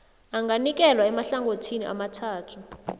anganikelwa emahlangothini amathathu